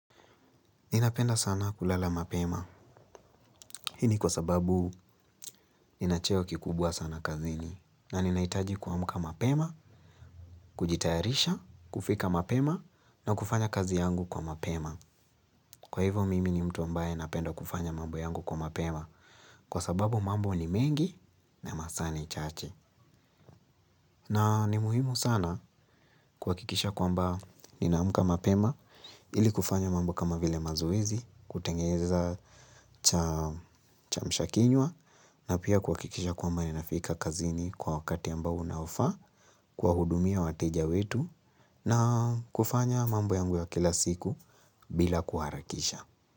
Ninapenda sana kulala mapema. Hii ni kwa sababu nina cheo kikubwa sana kazini. Na ninahitaji kuamka mapema, kujitayarisha, kufika mapema na kufanya kazi yangu kwa mapema. Kwa hivyo mimi ni mtu ambaye napenda kufanya mambo yangu kwa mapema. Kwa sababu mambo ni mengi na masaa ni chache. Na ni muhimu sana kuhakikisha kwamba ninaamka mapema ili kufanya mambo kama vile mazoezi, kutengeza cha chamshakinywa na pia kuhakikisha kwamba ninafika kazini kwa wakati ambao unaofaa kuwahudumia wateja wetu na kufanya mambo yangu ya kila siku bila kuharakisha.